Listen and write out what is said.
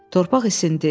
Torpaq isindi.